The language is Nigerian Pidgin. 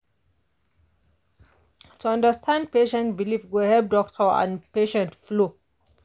to understand patient belief go help doctor and patient flow.